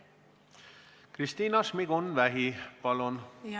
Kristina Šmigun-Vähi, palun!